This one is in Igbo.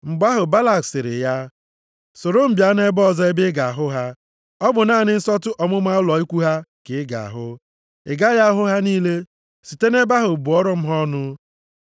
Mgbe ahụ, Balak sịrị ya, “Soro m bịa nʼebe ọzọ ebe ị ga-ahụ ha; ọ bụ naanị nsọtụ ọmụma ụlọ ikwu ha ka ị ga-ahụ, ị gaghị ahụ ha niile. Site nʼebe ahụ bụọrọ m ha ọnụ.”